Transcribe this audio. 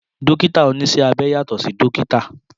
Dókítà oníṣẹ́ abẹ yàtọ̀ sí dókítà